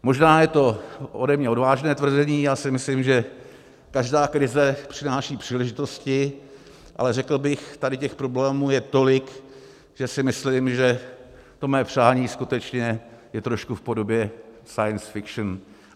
Možná je to ode mě odvážné tvrzení, já si myslím, že každá krize přináší příležitosti, ale řekl bych, tady těch problémů je tolik, že si myslím, že to mé přání skutečně je trošku v podobě science fiction.